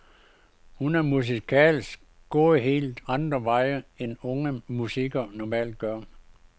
Hun er musikalsk gået helt andre veje, end unge musikere normalt gør.